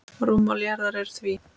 Rúmmál jarðar er því